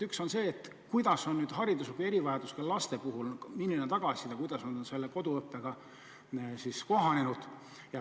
Üks on see, et milline on hariduslike erivajadustega laste puhul tagasiside olnud ja kuidas nad on koduõppega kohanenud.